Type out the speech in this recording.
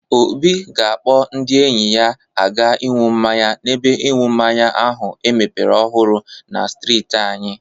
Obi ga-akpọ ndị enyi ya aga ịñu mmanya n'ebe ịṅụ mmanya ahụ emepere ọhụrụ na strịtị anyị.